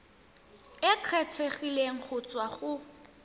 e kgethegileng go tswa go